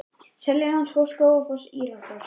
Seljalandsfoss, Skógafoss og Írárfoss.